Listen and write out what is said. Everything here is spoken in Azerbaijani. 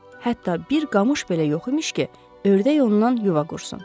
Hətta bir qamış belə yox imiş ki, ördək ondan yuva qursun.